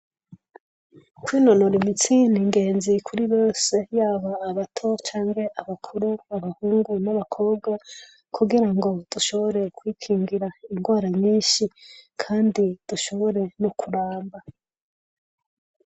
Kwinonora imitsi n'ingenzi kuri bose yaba abato canke abakuru ; abahungu n'abakobwa kugira ngo dushobore kwikingira ingwara nyinshi kandi dushobore no kuramba.